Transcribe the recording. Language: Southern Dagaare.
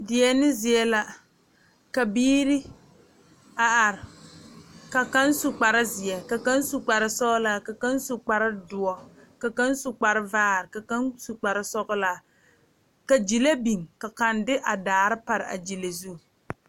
Deɛne zie la ka biiri a are ka kaŋ su kpare ziiri, ka kaŋ su kpare sɔglɔ, ka kaŋ su kpare doɔ ,ka kaŋ su kpare vaare ka kaŋ su kpare sɔglaa ka gyile biŋ ka kaŋ de a daare pare a gyile zu.